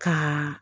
Ka